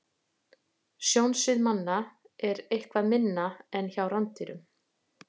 Sjónsvið manna er eitthvað minna en hjá rándýrum.